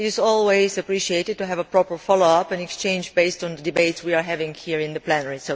It is always appreciated to have a proper follow up and exchange based on the debates we have here in the plenary.